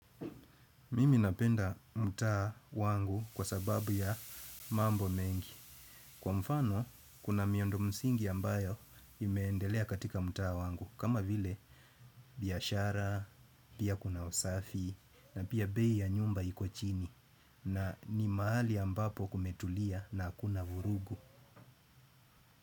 Mimi napenda mtaa wangu kwa sababu ya mambo mengi, kwa mfano kuna miundo msingi ambayo imeendelea katika mtaa wangu, kama vile biashara, pia kuna usafi, na pia bei ya nyumba iko chini, na ni mahali ambapo kumetulia na hakuna vurugu.